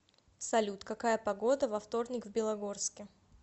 салют какая погода во вторник в белогорске